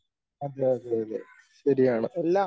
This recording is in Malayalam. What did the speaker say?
അതെ അതെ അതെ ശരിയാണ്.